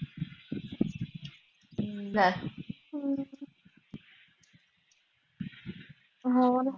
ਹੋਰ